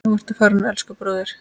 Nú ertu farinn, elsku bróðir.